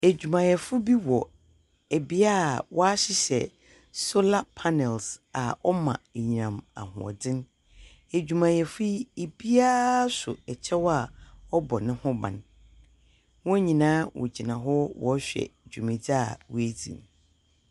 Edwumayɛfo bi wɔ bea a wɔahyehyɛ solar panels a ɔma enyinam ahoɔdze. Edwumayɛfo yi, biara so kyɛw a ɔbɔ no ho ban. Hɔn nyinaa wogyina hɔ wɔrehwe dwumadzu a woedzi no.